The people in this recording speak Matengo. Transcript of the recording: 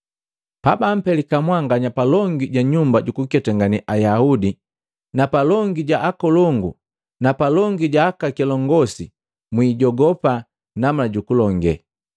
“Pabampelika mwanganya palongi ja nyumba jukuketangane Ayaudi na palongi ja akolongu na palongi ja aka kilongosi, mwijogopa namna jukulilonge.